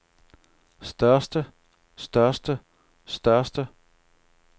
største største største